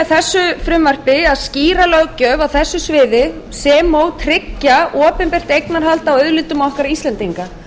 þessu frumvarpi að skýra löggjöf á þessu sviði sem og tryggja opinbert eignarhald á auðlindum okkar íslendinga